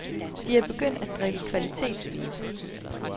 De er begyndt at drikke kvalitetsvin.